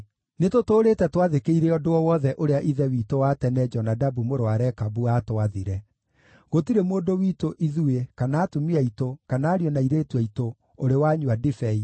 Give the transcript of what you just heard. Nĩtũtũũrĩte twathĩkĩire ũndũ o wothe ũrĩa ithe witũ wa tene Jonadabu mũrũ wa Rekabu aatwathire. Gũtirĩ mũndũ witũ ithuĩ, kana atumia aitũ, kana ariũ na airĩtu aitũ, ũrĩ wanyua ndibei,